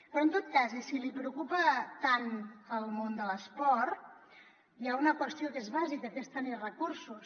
però en tot cas i si li preocupa tant el món de l’esport hi ha una qüestió que és bàsica que és tenir recursos